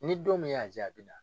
Ni don min y'a ja a bi na.